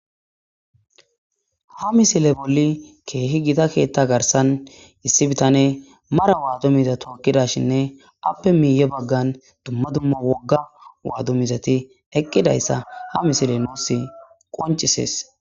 Ha misile bollin kehi giita keththa garissan issi bitaney mara waadu miiza tokidashene affe miye baggan duma duma wooga waadu miizati eqidayisa ha misile nusi qoncises.